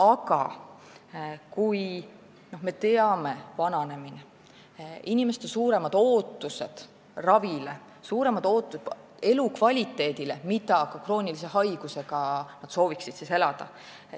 Aga me teame, et elanikkond vananeb, inimestel on suuremad ootused ravile ja elukvaliteedile, sellele, kuidas nad ka kroonilise haigusega sooviksid elada.